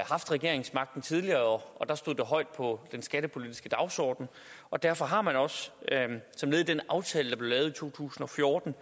regeringsmagten tidligere der stod det højt på den skattepolitiske dagsorden og derfor har man også som led i den aftale der i to tusind og fjorten